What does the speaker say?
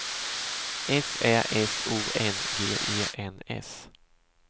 S Ä S O N G E N S